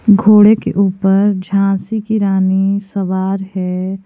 घोड़े के ऊपर झांसी की रानी सवार है।